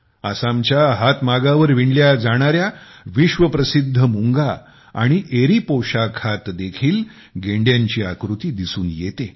आसामच्या हातमागावर विणल्या जाणाऱ्या विश्व प्रसिद्ध मुंगा आणि एरी पोशाखावर ही गेंड्यांची आकृती असते